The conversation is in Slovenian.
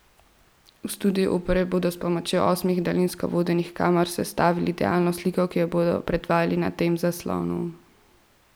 V studiu opere bodo s pomočjo osmih daljinsko vodenih kamer sestavili idealno sliko, ki jo bodo predvajali na tem zaslonu.